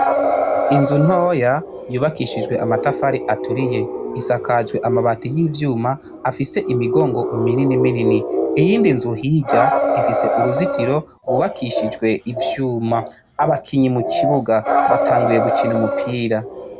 Inzu ntoya yubakishijwe amatafari aturiye isakajwe amabati y'ivyuma afise imigongo mininiminini. Iyind'inzu hirya ifise uruzitiro gwubakishijwe ivyuma. Abakinyi mukibuga batanguye gukina umupira.